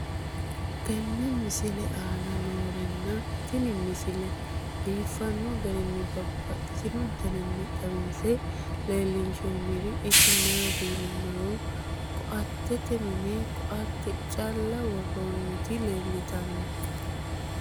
tenne misile aana noorina tini misile biiffanno garinni babaxxinno daniinni xawisse leelishanori isi maati yinummoro koatete minne koatte calla woroonnitti leelittanno.